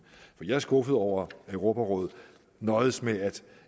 jeg er skuffet over at europarådet nøjedes med at